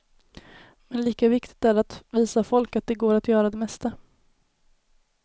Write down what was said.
Men lika viktigt är det att visa folk att det går att göra det mesta.